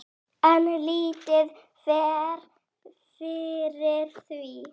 En lítið fer fyrir því.